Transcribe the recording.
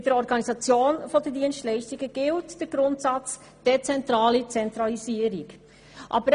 Bei der Organisation der Dienstleistungen gilt der Grundsatz «dezentrale Zentralisierung».